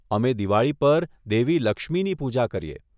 અમે દિવાળી પર દેવી લક્ષ્મીની પૂજા કરીએ.